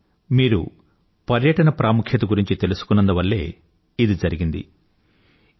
ముఖ్యంగా మీరు పర్యటన ప్రాముఖ్యత గురించి తెలుసుకున్నందు వల్లే ఇది జరిగింది